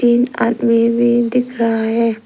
एक आदमी भी दिख रहा है।